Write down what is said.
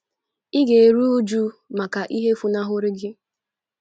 Ị ga - eru újú maka ihe funahụrụ gị